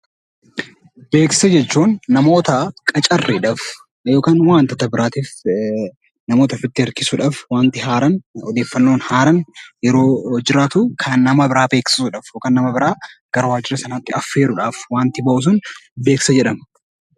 Beeksisa jechuun namoota qacarriidhaaf yookaan immoo waantota biraatiif namoota ofitti harkisuudhaaf waanti haaraan, odeeffannoo haaraan yeroo jiraatu kan nama biraa beeksisuudhaaf yookaan nama biraa waajjira sanatti affeeruudhaaf waanti bahu sun beeksisa jedhama.